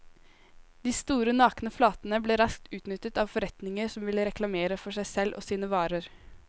De store nakne flatene ble raskt utnyttet av forretninger som ville reklamere for seg selv og sine varer.